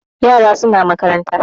Yara suna makaranta